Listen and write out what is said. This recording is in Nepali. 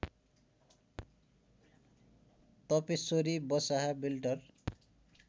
तपेश्वरी बसाहा बेल्टार